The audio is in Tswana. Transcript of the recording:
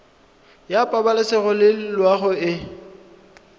la pabalesego le loago e